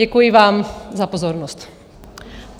Děkuji vám za pozornost.